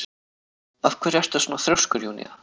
Af hverju ertu svona þrjóskur, Júnía?